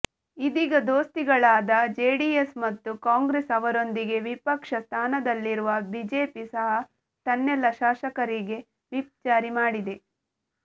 ಇದೀಗ ದೋಸ್ತಿಗಳಾದ ಜೆಡಿಎಸ್ ಮತ್ತು ಕಾಂಗ್ರೆಸ್ ಅವರೊಂದಿಗೆ ವಿಪಕ್ಷ ಸ್ಥಾನದಲ್ಲಿರುವ ಬಿಜೆಪಿ ಸಹ ತನ್ನೆಲ್ಲ ಶಾಸಕರಿಗೆ ವಿಪ್ ಜಾರಿ ಮಾಡಿದೆ